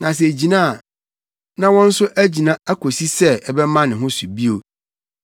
Na sɛ egyina a, na wɔn nso agyina akosi sɛ ɛbɛma ne ho so bio.